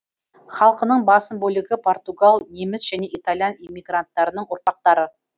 халқының басым бөлігі португал неміс және италиян иммигранттарының ұрпақтары